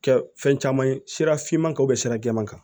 Kɛ fɛn caman ye sira finman kan o bɛ sira jɛman kan